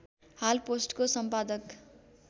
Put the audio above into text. हाल पोस्टको सम्पादक